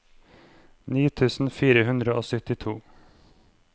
ni tusen fire hundre og syttito